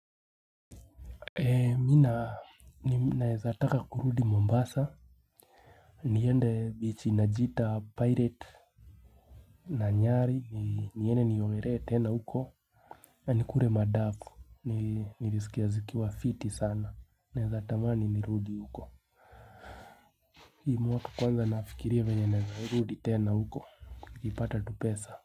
Ee mi na naezataka kurudi mombasa niende bichi inajiita pirate na nyari niende niogeree tena huko na nikure madafu nirisikia zikiwa fiti sana naeza tamani nirudi huko hii mwaka kwanza nafikiria venye naeza rudi tena huko nikipata tupesa.